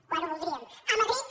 quan ho voldríem a madrid